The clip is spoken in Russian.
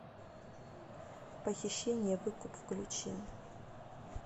похищение выкуп включи